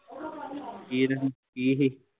ਕੀਰਨ ਕੀ ਸੀ